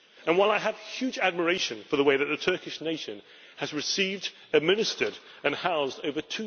And while I have huge admiration for the way that the Turkish nation has received, administered and housed over